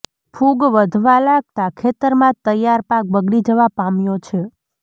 ફુગ વધવા લાગતા ખેતરમાં તૈયાર પાક બગડી જવા પામ્યો છે